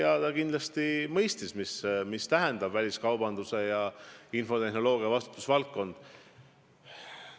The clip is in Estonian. Ta kindlasti mõistab, mida tähendab väliskaubanduse ja infotehnoloogia vastutusvaldkond.